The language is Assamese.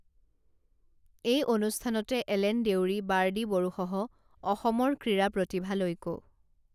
এই অনুষ্ঠানতে এলেন দেউৰী বাৰ্ডি বড়োসহ অসমৰ ক্ৰীড়া প্ৰতিভালৈকো